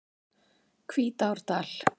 Hvítárdal